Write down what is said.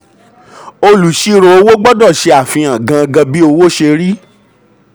olùsírò owó gbọdọ̀ ṣe àfihàn gangan bí owó ṣe rí.